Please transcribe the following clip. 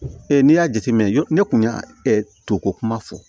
n'i y'a jateminɛ ne kun y'a to ko kuma fɔ